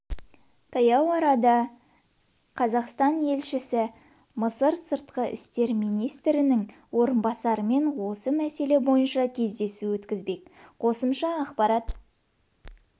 таяу арада қазақстан елшісі мысыр сыртқы істер министрінің орынбасарымен осы мәселе бойынша кездесу өткізбек қосымша ақпарат